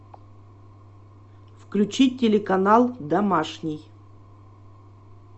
включи телеканал домашний